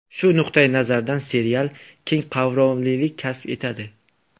Shu nuqtayi nazardan serial keng qamrovlilik kasb etadi.